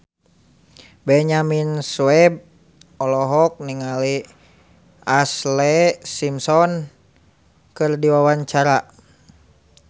Benyamin Sueb olohok ningali Ashlee Simpson keur diwawancara